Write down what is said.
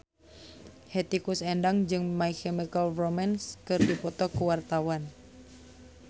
Hetty Koes Endang jeung My Chemical Romance keur dipoto ku wartawan